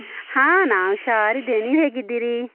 ಹಾ ನಾನ್ ಹುಷಾರ್ ಇದ್ದೇನೆ. ನೀವ್ ಹೇಗಿದ್ದೀರಿ?